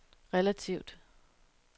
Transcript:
relativt